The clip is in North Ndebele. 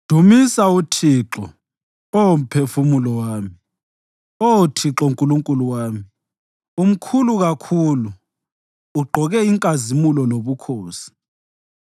Dumisa uThixo, Oh mphefumulo wami. Oh Thixo Nkulunkulu wami, umkhulu kakhulu; ugqoke inkazimulo lobukhosi.